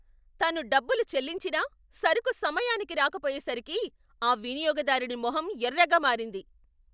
తను డబ్బులు చెల్లించిన సరుకు సమయానికి రాకపోయేసరికి ఆ వినియోగదారుడి మొహం ఎర్రగా మారింది.